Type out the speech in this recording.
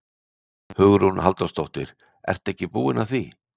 Hugrún Halldórsdóttir: Ertu ekki búin að því?